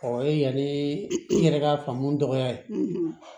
Ɔ o ye yanni n yɛrɛ ka faamu dɔgɔya ye